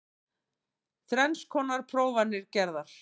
Þrenns konar prófanir gerðar